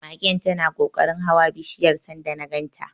Magen tana kokarin hawa bishiyar sanda na ganta.